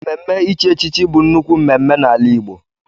Mmemme ichi echichi bụ nnukwu mmemme n'ala Igbo.